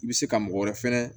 I bɛ se ka mɔgɔ wɛrɛ fɛnɛ